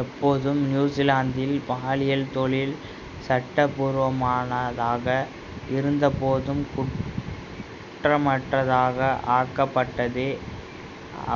எப்பொழுதும் நியூசிலாந்தில் பாலியல் தொழில் சட்டபூர்வமானதாக இருந்தபோதும் குற்றமற்றதாக ஆக்கப்பட்டதே